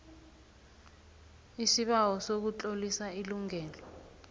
isibawo sokutlolisa ilungelo